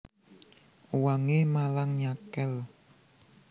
Uwangé malang nyakél